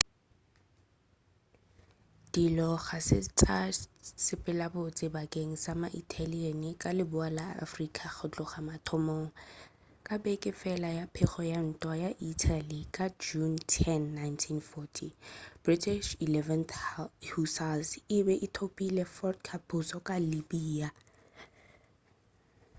dilo ga se tša sepela botse bakeng sa ma-italian ka leboa la afrika go tloga mathomong ka beke fela ya pego ya ntwa ya italy ka june 10 1940 british 11th hussars e be e thopile fort capuzzo ka libya